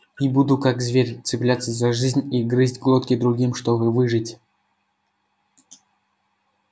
и буду как зверь цепляться за жизнь и грызть глотки другим чтобы выжить